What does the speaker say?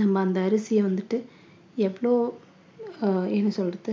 நம்ம அந்த அரிசிய வந்துட்டு எவ்ளோ அஹ் என்ன சொல்றது